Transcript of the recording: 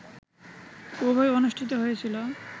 উভয়ই অনুষ্ঠিত হয়েছিল